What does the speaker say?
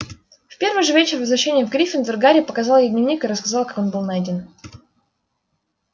в первый же вечер возвращения в гриффиндор гарри показал ей дневник и рассказал как он был найден